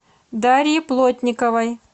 дарьи плотниковой